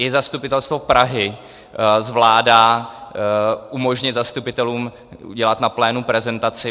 I zastupitelstvo Prahy zvládá umožnit zastupitelům udělat na plénu prezentaci.